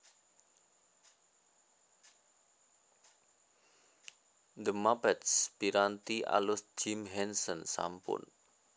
The Muppets piranti alus Jim Henson sampun